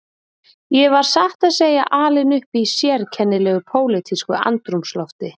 Ég var satt að segja alinn upp í sérkennilegu pólitísku andrúmslofti.